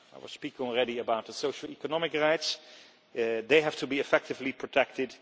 I have spoken already about social economic rights they have to be effectively protected